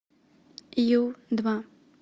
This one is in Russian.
ю два